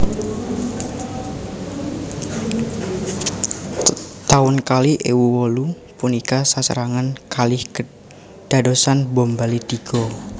Taun kalih ewu wolu punika sesarengan kalih kedadosan bom Bali tigo